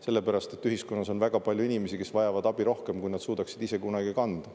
Sellepärast, et ühiskonnas on väga palju inimesi, kes vajavad abi rohkem, kui nad suudaksid ise kunagi kanda.